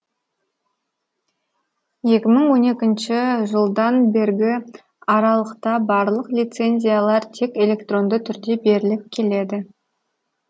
екі мың он екінші жыдан бергі аралықта барлық лицензиялар тек электронды түрде беріліп келеді